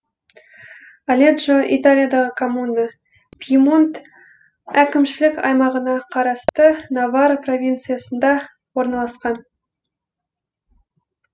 оледжо италиядағы коммуна пьемонт әкімшілік аймағына қарасты новара провинциясында орналасқан